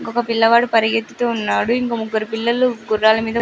ఒక పిల్లవాడు పరిగెత్తుతున్నాడు ఇంకో ముగ్గురు పిల్లలు గుర్రాల మీద --